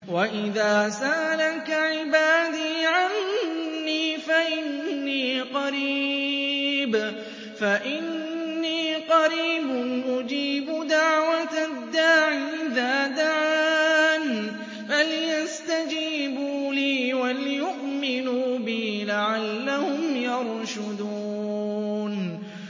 وَإِذَا سَأَلَكَ عِبَادِي عَنِّي فَإِنِّي قَرِيبٌ ۖ أُجِيبُ دَعْوَةَ الدَّاعِ إِذَا دَعَانِ ۖ فَلْيَسْتَجِيبُوا لِي وَلْيُؤْمِنُوا بِي لَعَلَّهُمْ يَرْشُدُونَ